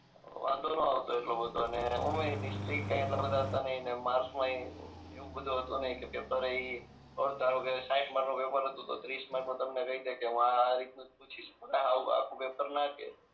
વાંધો ન આવતો એટલો બધો અને ઓમેય એ સ્ટ્રીક કઈ એટલા બધા કઈ હતા નહી અને માર્કસ માં એવું બધું હતું નહી કેમ કે પેપર ઈ ધારોકે સાહીઠ માર્ક નું પેપર હતું તો ત્રીસ માર્ક નું તમને કહી દે કે હું આ આ રીત નું જ પૂછીશ હા આવું આખું પેપર ના કે